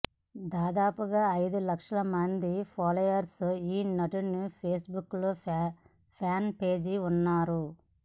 దాదాపుగా ఐదు లక్షల మంది ఫాలోయర్స్ ఈ నటుడి పేస్ బుక్ ఫ్యాన్ పేజికి ఉన్నారు